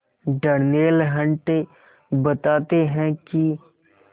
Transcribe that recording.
Darnell Hunt बताते हैं कि